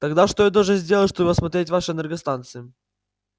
тогда что я должен сделать чтобы осмотреть ваши энергостанции